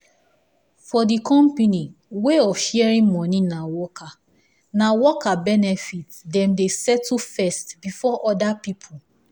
for the company way of sharing money na worker na worker benefit dem dey settle first before other people